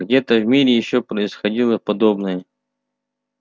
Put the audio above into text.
где-то в мире ещё происходило подобное